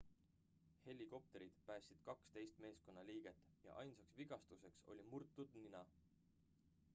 helikopterid päästsid 12 meeskonnaliiget ja ainsaks vigastuseks oli murtud nina